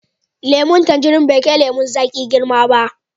Lemun tanjirin bai kai lemun zaƙi girma ba.